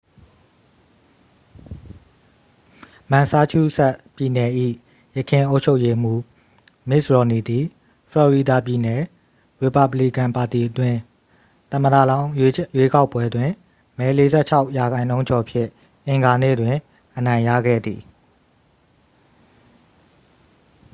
မန်ဆာချူးဆက်ပြည်နယ်၏ ယခင်အုပ်ချုပ်ရေးမှုး မစ်တ်ရော်မ်နီသည် ဖလော်ရီဒါပြည်နယ် ရီပါဘလီကန်ပါတီအတွင်း သမ္မတလောင်းရွေးကောက်ပွဲတွင် မဲ 46 ရာနှုန်းကျော်ဖြင့် အင်္ဂါနေ့တွင် အနိုင်ရခဲ့သည်